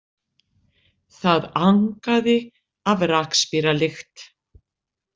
Það angaði af rakspíralykt.